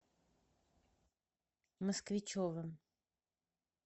москвичевым